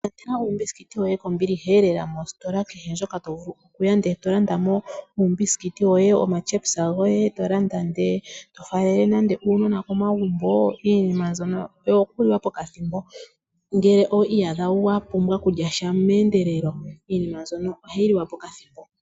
Ilandela uumbisikiti woye kombiliha lela mositola kehe ndjoka to vulu okulanda, eto landa mo uumbisikiti woye omatyepisa goye, to landa ndele to faalele nande uunona komagumbo. Iinima mbyono oyo ku liwa pokathimbo, ngele owi iyadha wa pumbwa okulya sha meendelelo, iinima mbyono ohayi liwa pokathimbo.